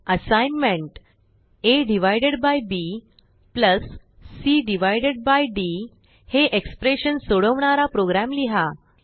assignment a b c d हे expression सोडवणारा program लिहा